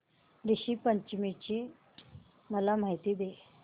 ऋषी पंचमी ची मला माहिती दे